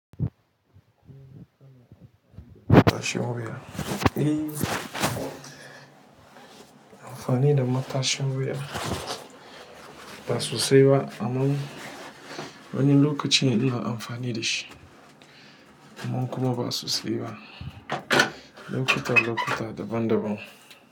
Matashin wuya, eh amfani da matashin wuya ba sosai ba, amma wani lokacin ina amfani da shi amma kuma ba sosai ba. Lokutta lokutta daban daban.